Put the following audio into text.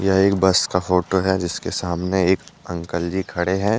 एक बस का फोटो है जिसके सामने एक अंकल जी खड़े हैं ।